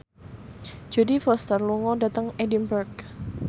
Jodie Foster lunga dhateng Edinburgh